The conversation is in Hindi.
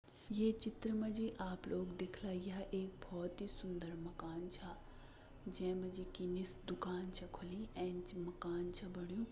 ये चित्र मा जी आप लोग देखला यह एक बहोत ही सुन्दर मकान छा जै मा जी कि निस दुकान छ खुलीं एंच मकान छ बण्यु।